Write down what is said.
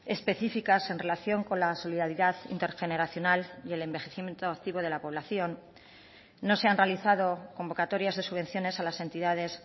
específicas en relación con la solidaridad intergeneracional y el envejecimiento activo de la población no se han realizado convocatorias de subvenciones a las entidades